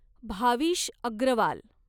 Bhavish Agarwal